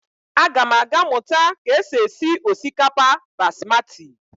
Agam aga muta ka e si esi osikapa basmati.